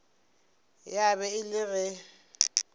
ya ba e le ge